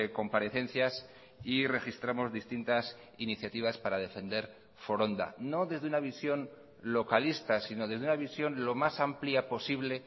comparecencias y registramos distintas iniciativas para defender foronda no desde una visión localista sino desde una visión lo más amplia posible